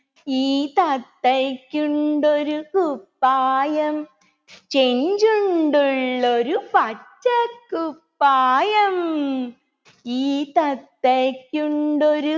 ഈ തത്തയ്‌ക്കുണ്ടൊരു കുപ്പായം ചെഞ്ചുണ്ടുള്ളൊരു പച്ചകുപ്പായം ഈ തത്തയ്‌ക്കുണ്ടൊരു